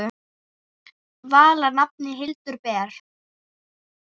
Vala nafnið Hildur ber.